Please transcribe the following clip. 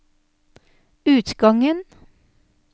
utgangen